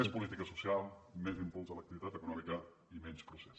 més política social més impuls a l’activitat econòmica i menys procés